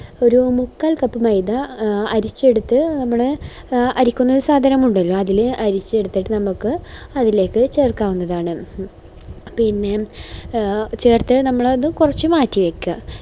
ഒരു മുക്കാൽ cup മൈദ അരിച്ചെടുത്ത് നമ്മള് അരിക്കുന്നൊരു സാധനമുണ്ടല്ലോ അതില് അരിച്ചെടുത്തിട്ട് നമുക്ക് അതിലേക് ചേർക്കാവുന്നതാണ് പിന്നെ എ ചേർത്ത് നമ്മളത് കുറച് മാറ്റി വെക്കുക